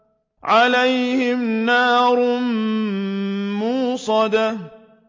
عَلَيْهِمْ نَارٌ مُّؤْصَدَةٌ